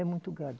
É muito gado.